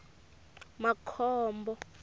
makhombo